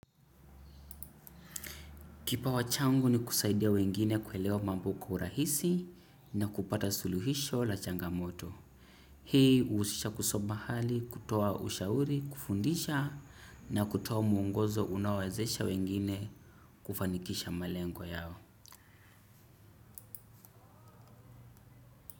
Kipawa changu ni kusaidia wengine kuelewa mambo kwa urahisi na kupata suluhisho la changamoto. Hii huhusisha kutoa ushauri, kufundisha na kutoa mwongozo unaowezesha wengine kufanikisha malengo yao.